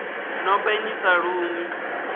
no penya i sa lumi